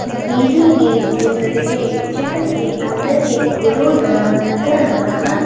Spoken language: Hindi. यह एक चित्र है चित्र के अंदर एक गुरुद्वारा नजर आ रहा है।